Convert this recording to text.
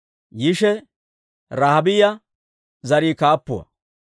Yishe Rahaabiyaa zarii kaappuwaa.